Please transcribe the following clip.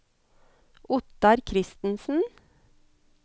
Ottar Christensen